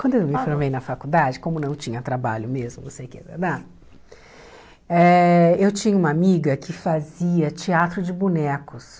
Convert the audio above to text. Quando eu me formei na faculdade, como não tinha trabalho mesmo, não sei o quê da da eh eu tinha uma amiga que fazia teatro de bonecos.